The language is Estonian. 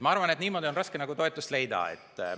Ma arvan, et niimoodi on raske toetust leida.